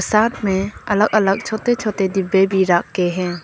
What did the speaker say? साथ में अलग अलग छोटे छोटे डिब्बे भी रख के हैं।